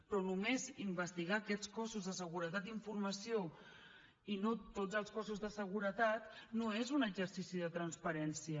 però només investigar aquests cossos de seguretat i informació i no tots els cossos de seguretat no és un exercici de transparència